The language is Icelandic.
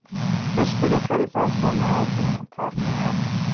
Þeir spyrja hverjir fái að koma að ákvörðun um hvar megi aka?